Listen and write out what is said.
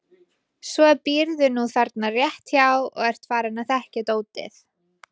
Svo býrðu nú þarna rétt hjá og ert farinn að þekkja dótið.